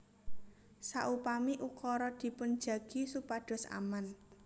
Saupami ukara dipun jagi supados aman